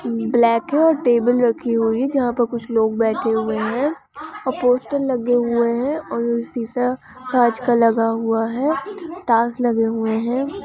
Black है और table राखी हुई है जहाँ पर कुछ लोग बैठे हुए है और पोस्टर लगे हुए है और वो सीसा काच का लगा हुआ है टाईल्स लगे हुए है।